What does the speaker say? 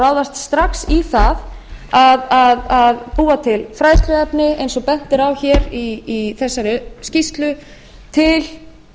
ráðast strax í það að búa til fræðsluefni eins og bent er á hér í þessari skýrslu til